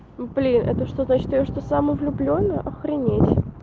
ну блин это что значит я что самовлюблённая охренеть